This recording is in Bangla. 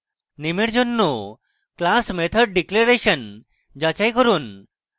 name এর জন্য class method declaration যাচাই করুন